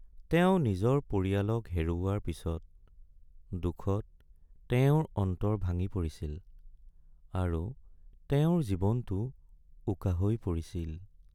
তেওঁ নিজৰ পৰিয়ালক হেৰুওৱাৰ পিছত, দুখত তেওঁৰ অন্তৰ ভাঙি পৰিছিল আৰু তেওঁৰ জীৱনটো উকা হৈ পৰিছিল।